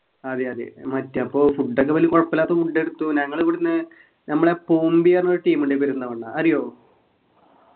അതെ അതെ മറ്റ് അപ്പൊ food ഒക്കെ വല്യ കൊഴപ്പമില്ലാത്ത food എടുത്തു ഞങ്ങളിവിടെന്നു ഞമ്മളെ ന്നൊരു team ഉണ്ട് പെരിന്തൽമണ്ണ അറിയോ